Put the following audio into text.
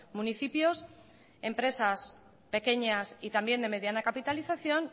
municipios empresas pequeñas y también de mediana capitalización